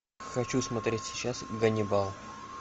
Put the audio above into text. хочу смотреть сейчас ганнибал